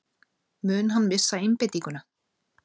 Mun hann missa einbeitinguna?